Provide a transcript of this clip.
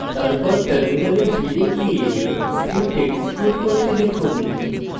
তারপর terminal ফিরে গিয়ে script execute করতে লিখুন